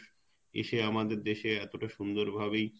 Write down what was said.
এসে আমাদের দেশে এতটা সুন্দর ভাবেই,